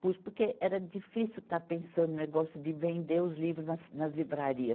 Pus porque era difícil estar pensando no negócio de vender os livros nas, nas livrarias.